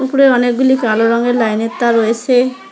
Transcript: উপরে অনেকগুলি কালো রঙের লাইনের তার রয়েছে।